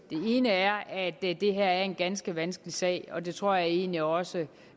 ene er at det her er en ganske vanskelig sag og det tror jeg egentlig også